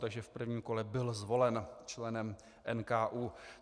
Takže v prvním kole byl zvolen členem NKÚ.